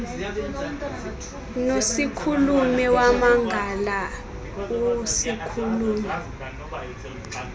nosikhulume wamangala usikhulume